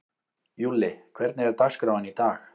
Júlli, hvernig er dagskráin í dag?